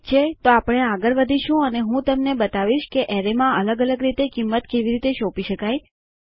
ઠીક છે તો આપણે આગળ વધીશું અને હું તમને બતાવીશ કે એરેયમાં અલગ અલગ રીતે કિંમત કેવી રીતે સોંપી શકાય